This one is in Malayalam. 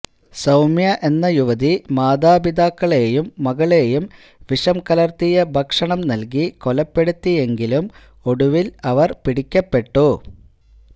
സൌമ്യ എന്ന യുവതി മാതാപിതാക്കളെയും മകളെയും വിഷം കലര്ത്തിയ ഭക്ഷണം നല്കി കൊലപ്പെടുത്തിയെങ്കിലും ഒടുവില് അവര് പിടിക്കപ്പെട്ടു